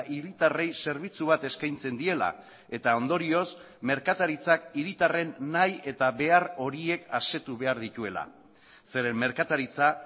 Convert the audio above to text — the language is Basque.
hiritarrei zerbitzu bat eskaintzen diela eta ondorioz merkataritzak hiritarren nahi eta behar horiek asetu behar dituela zeren merkataritza